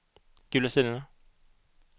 gula sidorna